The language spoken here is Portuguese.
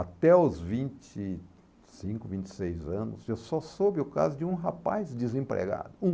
Até os vinte e cinco, vinte e seis anos, eu só soube o caso de um rapaz desempregado, um.